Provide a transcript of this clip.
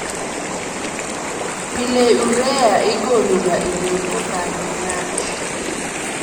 PIle urea igolo ga e del kokalo e lach